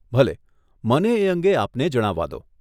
ભલે, મને એ અંગે આપને જણાવવા દો.